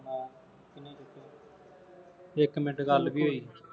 ਇੱਕ ਮਿੰਟ ਗੱਲ ਕੀ ਹੋਈ